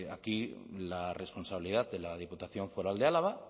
aquí la responsabilidad de la diputación foral de álava